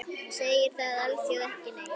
Segir það alþjóð ekki neitt?